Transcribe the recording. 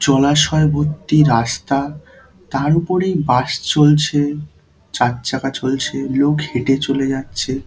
জলাশয় ভর্তি রাস্তা তার উপরেই বাস চলছে চার চাকা চলছে লোক হেঁটে চলে যাচ্ছে।